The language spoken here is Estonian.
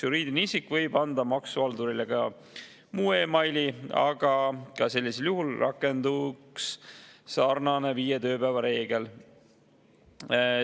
Juriidiline isik võib anda maksuhaldurile ka muu e-maili, ka sellisel juhul rakenduks sama viie tööpäeva reegel.